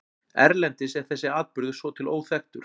Erlendis er þessi atburður svo til óþekktur.